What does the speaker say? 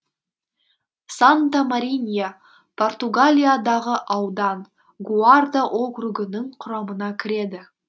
санта маринья португалиядағы аудан гуарда округінің құрамына кіреді